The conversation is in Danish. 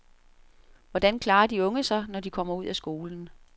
Hvordan klarer de unge sig, når de kommer ud af skolen?